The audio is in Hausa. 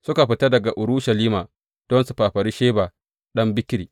Suka fita daga Urushalima don su fafari Sheba ɗan Bikri.